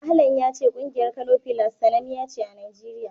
Ahlan ya ce ƙungiyar Kano Pillars sananniya ce a Najeriya.